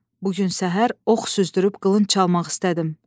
Bu gün səhər ox süzdürüb qılınc çalmaq istədim.